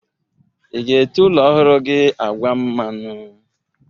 Ị ga-ete ụlọ ọhụrụ gi agwa mmanụ?